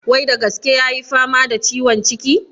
Wai da gaske ya yi fama da ciwon ciki?